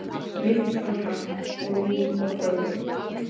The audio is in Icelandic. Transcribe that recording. Mitt var happ og mín var fró